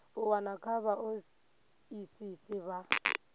u wana kha vhaoisisi vha